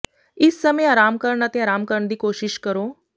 ਇਸ ਸਮੇਂ ਆਰਾਮ ਕਰਨ ਅਤੇ ਆਰਾਮ ਕਰਨ ਦੀ ਕੋਸ਼ਿਸ਼ ਕਰੋ